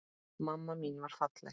Mamma mín var falleg.